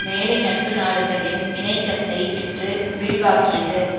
மேலை நட்பு நாடுகளின் இணைக்கத்தை பெற்று விரிவாக்கியது